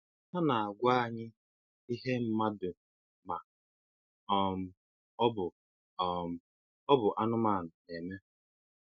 Ha na-àgwá anyị ihe mmadụ ma um ọ bụ um ọ bụ anụmanụ na-eme.